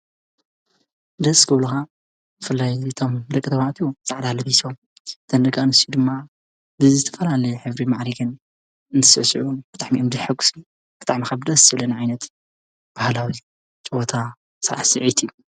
ደስ ጐብለኻ ፍላይ ዙቶም ለቀ ተባዕቱ ፃዕዳለ ቲሶ ተነጋ እንስዩ ድማ ብዘ ዝተፋልለ ሕብሪ መዓሪግን እንስሢዑን በጥዕሜእምድ ሕጕ ብጥዕመኸብደስ ስለኒ ኣይነት በህላዊ ተወታ ሠዓሥዕቲ እዩ።